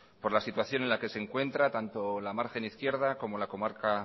por la situación en la que se encuentra tanto la margen izquierda como la comarca